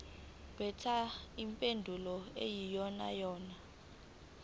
khetha impendulo eyiyonayona